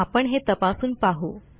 आपण हे तपासून पाहू